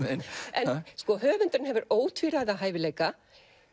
en höfundurinn hefur ótvíræða hæfileika